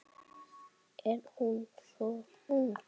Er hún svo ung?